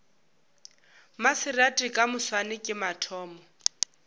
maserati ka moswane ke mathomo